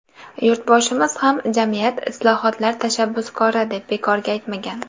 Yurtboshimiz ham ‘Jamiyat islohotlar tashabbuskori’ deb bekorga aytmagan.